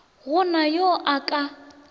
go na yo a ka